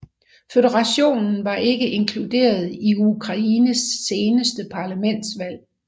Føderationen var ikke inkluderet i Ukraines seneste parlamentsvalg